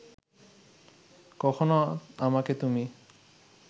কখনো আমাকে তুমি